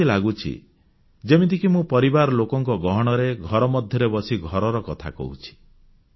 ଏମିତି ଲାଗୁଛି ଯେମିତିକି ମୁଁ ପରିବାରର ଲୋକଙ୍କ ଗହଣରେ ଘର ମଧ୍ୟରେ ବସି ଘରର କଥା କହୁଛି